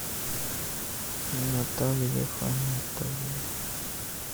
наталья хамитовна